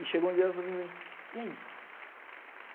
E chegou um dia e ela falou assim para mim... E aí?